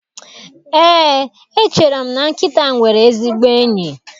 Eé, echere m na nkịta nwere ezigbo enyi.